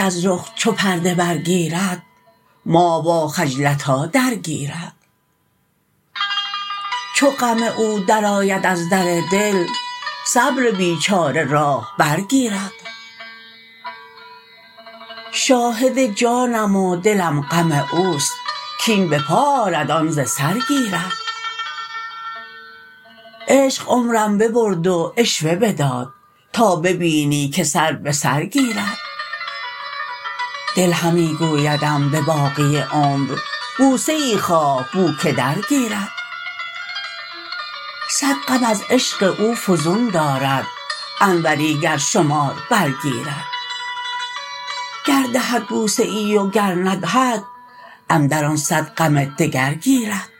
از رخ چو پرده برگیرد ماه واخجلتاه درگیرد چون غم او درآید از در دل صبر بیچاره راه برگیرد شاهد جانم و دلم غم اوست کین به پا آرد آن ز سر گیرد عشق عمرم ببرد و عشوه بداد تا ببینی که سر به سر گیرد دل همی گویدم به باقی عمر بوسه ای خواه بو که درگیرد صد غم از عشق او فزون دارد انوری گر شمار برگیرد گر دهد بوسه ای وگر ندهد اندر آن صد غم دگر گیرد